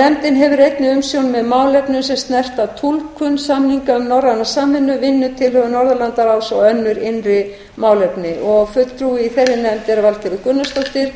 nefndin hefur einnig umsjón með málefnum sem snerta túlkun samninga um norræna samvinnu vinnutilhögun norðurlandaráðs og önnur innri málefni fulltrúi í þeirri nefnd er valgerður gunnarsdóttir